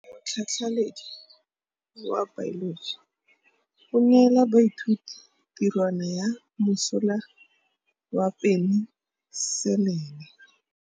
Motlhatlhaledi wa baeloji o neela baithuti tirwana ya mosola wa peniselene.